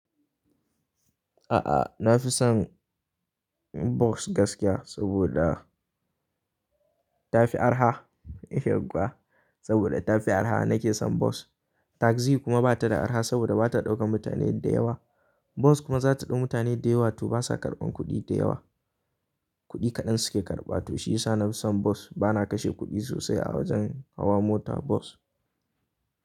A'a, na fi son bus gaskiya saboda ta fi arha. Yauwa saboda ta fi arha na ke son bus. Taxi kuma ba ta da arha saboda ba ta ɗaukan mutane da yawa. Bus kuma za ta ɗau mutane da yawa to ba sa karɓan kuɗi da yawa. Kuɗi kaɗan su ke karɓa to shi ya sa na fi son bus. Ba na kashe kuɗi sosai a wajen hawa mota bas.